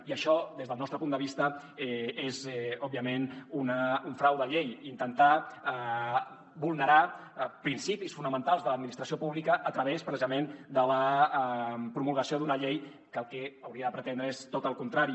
i això des del nostre punt de vista és òbviament un frau de llei intentar vulnerar principis fonamentals de l’administració pública a través precisament de la promulgació d’una llei que el que hauria de pretendre és tot el contrari